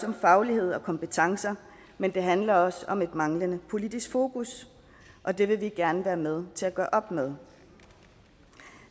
om faglighed og kompetencer men det handler også om et manglende politisk fokus og det vil vi gerne være med til at gøre op med